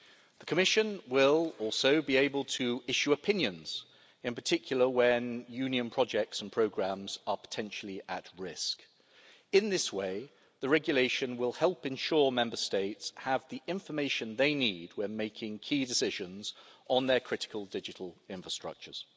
The Commission will also be able to issue opinions in particular when Union projects and programmes are potentially at risk. In this way, the regulation will help ensure Member States have the information they need when making key decisions on their critical digital infrastructures.